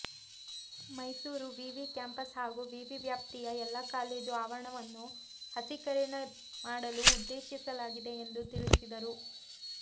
ಮೈಸೂರು ವಿವಿ ಕ್ಯಾಂಪಸ್ ಹಾಗೂ ವಿವಿ ವ್ಯಾಪ್ತಿಯ ಎಲ್ಲಾ ಕಾಲೇಜು ಆವರಣವನ್ನು ಹಸಿರೀಕರಣ ಮಾಡಲು ಉದ್ದೇಶಿಸಲಾಗಿದೆ ಎಂದು ತಿಳಿಸಿದರು